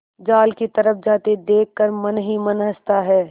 जाल की तरफ जाते देख कर मन ही मन हँसता है